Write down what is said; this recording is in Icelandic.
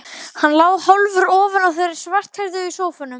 Hann lá hálfur ofan á þeirri svarthærðu í sófanum.